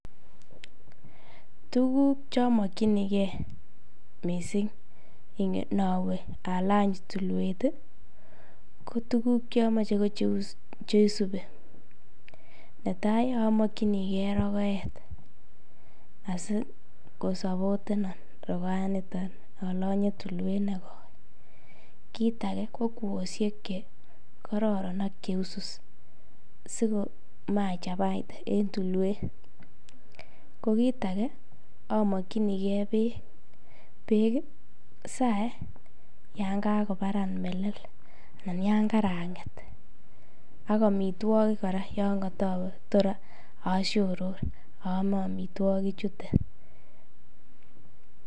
Tukuk chomokyinike mising inowe alany tulwet ko tukuk chomoche ko cheisubi, netaai omokyinike rokoet asi kosopotenon rokoaniton alonye tulwet nekoi, kiit akee ko kwoshiek che kororon ak cheusus sikomachabaite en tulwet, ko kiit akee ko amokyinike beek, beek saee yoon kakobaran melel ak yoon karang'et ak amitwokik kora yoon kotowe toor asioror oome amitwoki chuton.